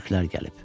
Türklər gəlib.